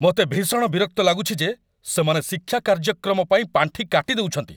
ମୋତେ ଭୀଷଣ ବିରକ୍ତ ଲାଗୁଛି ଯେ ସେମାନେ ଶିକ୍ଷା କାର୍ଯ୍ୟକ୍ରମ ପାଇଁ ପାଣ୍ଠି କାଟି ଦେଉଛନ୍ତି।